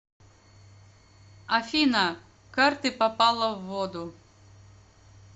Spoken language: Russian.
афина карты попала в воду